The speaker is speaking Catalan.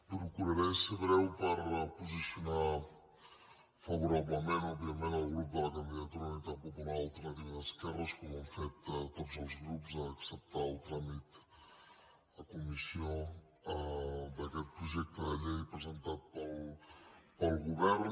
procuraré ser breu per posicionar favorablement òbviament el grup de la candidatura d’unitat popular alternativa d’esquerres com ho han fet tots els grups a acceptar el tràmit a comissió d’aquest projecte de llei presentat pel govern